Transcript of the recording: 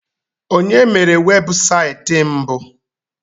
Onye mere webụsaịtị mbụ?